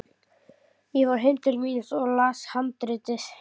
Ég fór heim til mín og las handritið.